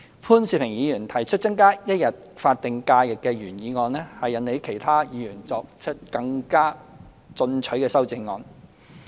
潘兆平議員提出增加一天法定假日的原議案，引起了其他議員更進取的修正案。